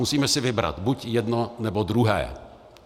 Musíme si vybrat - buď jedno, nebo druhé.